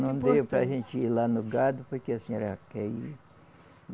Não deu para a gente ir lá no gado porque a senhora quer ir.